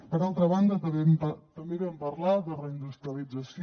per altra banda també vam parlar de reindustrialització